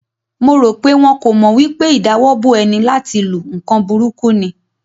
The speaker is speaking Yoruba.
Mo ro pe wọn kò mọ wipe ìdawọ́bo eni láti lu nkan burúkú ni.